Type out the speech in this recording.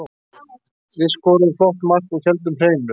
Við skoruðum flott mark og héldum hreinu.